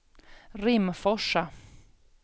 Rimforsa